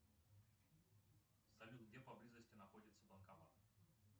салют где поблизости находится банкомат